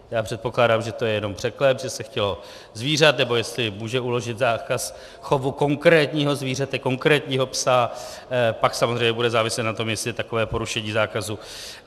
Já předpokládám, že to je jenom překlep, že se chtělo zvířat, nebo jestli může uložit zákaz chovu konkrétního zvířete, konkrétního psa, pak samozřejmě bude záviset na tom, jestli je takové porušení zákazu...